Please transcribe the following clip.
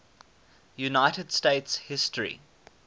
united states history